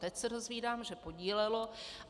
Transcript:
Teď se dozvídám, že podílelo.